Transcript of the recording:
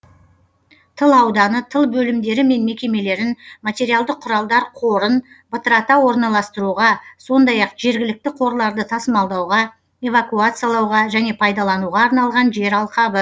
тыл ауданы тыл бөлімдері мен мекемелерін материалдық құралдар қорын бытырата орналастыруға сондай ақ жергілікті қорларды тасымалдауға эвакуациялауға және пайдалануға арналған жер алқабы